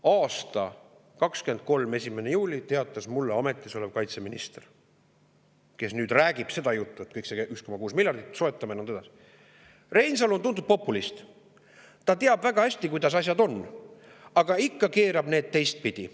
Aastal 2023 1. juulil teatas mulle praegugi ametis olev kaitseminister, kes nüüd räägib seda juttu, et soetame kõik selle 1,6 miljardi eest ja nõnda edasi, et Reinsalu on tuntud populist, ta teab väga hästi, kuidas asjad on, aga ikka keerab need teistpidi.